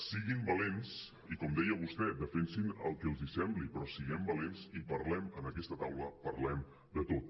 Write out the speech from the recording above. siguin valents i com deia vostè defensin el que els sembli però siguem valents i parlem en aquesta taula parlem de tot